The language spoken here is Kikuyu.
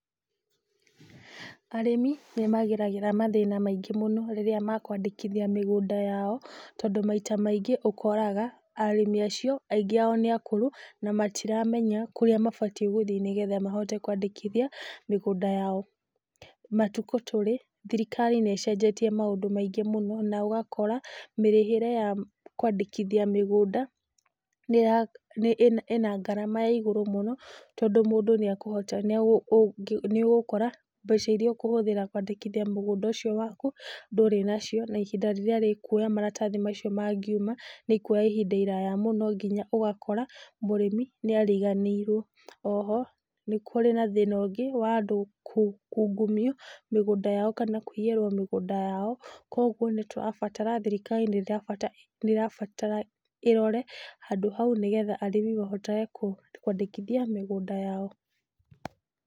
Arĩmi nĩ mageragĩra mathĩna maingĩ mũno rĩrĩa makũandĩkithia mĩgũnda yao, tondũ maita maingĩ ũkoraga, arĩmi acio, aingĩ ao nĩ akũrũ na matiramenya kũrĩa mabatiĩ gũthiĩ nĩgetha mahote kũandĩkithia mĩgũnda yao. Matukũ tũrĩ, thirikari nĩ ĩcenjetie maũndũ maingĩ mũno na ũgakora mĩrĩhĩre ya kũandĩkithia mĩgũnda, ĩna ngarama ya igũrũ mũno tondũ mũndũ nĩ akũhota, nĩ ũgũkora mbeca iria ũkũhũthĩra kũandĩkithia mũgũnda ũcio waku ndũrĩ nacio na ihinda rĩrĩa rĩkuo maratathi macio mangiuma, nĩ ikuoya ihinda iraya mũno nginya ũgakora mũrĩmi nĩ ariganĩirwo. Oho nĩ kũrĩ na thĩna ũngĩ wa andũ kungumio mĩgũnda yao kana kũiyĩrwo mĩgũnda yao. Koguo nĩ tũrabatara, thirikari nĩ ĩrabatara ĩrore handũ hau nĩgetha arĩmi mahotage kũandĩkithia mĩgũnda yao.